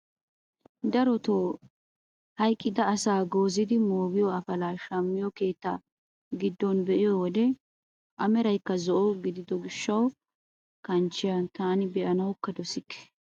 Darotoo hayqqida asaa goozzidi moogiyoo apalaa shamiyoo keettaa giddon de'iyoo wode a meraykka zo'o gidido gishsha kanchchiyaa tani be'anawu dossike!